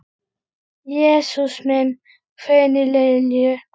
Jesús minn hvein í Lillu.